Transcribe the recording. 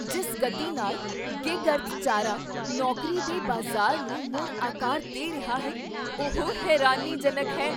ਜਿਸ ਗਤੀ ਨਾਲ ਗਿਗ ਅਰਥਚਾਰਾ ਨੌਕਰੀ ਦੇ ਬਾਜ਼ਾਰ ਨੂੰ ਮੁੜ ਆਕਾਰ ਦੇ ਰਿਹਾ ਹੈ ਉਹ ਹੈਰਾਨੀਜਨਕ ਹੈ।